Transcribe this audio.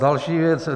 Další věc.